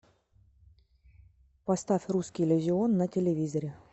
поставь русский иллюзион на телевизоре